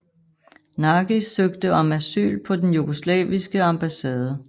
Nagy søgte om asyl på den jugoslaviske ambassade